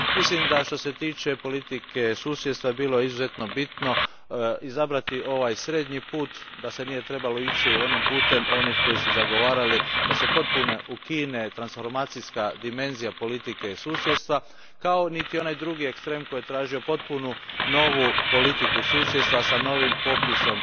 Mislim da, što se tiče politike susjedstva, bilo je izuzetno bitno izabrati ovaj srednji put, da se nije trebalo ići putem onih koji su zagovarali da se potpuno ukine transformacijska dimenzija politike susjedstva, kao niti onaj drugi ekstrem koji je tražio potpuno novu politiku susjedstva, s novim popisom